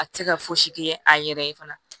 A tɛ se ka fosi kɛ a yɛrɛ ye fana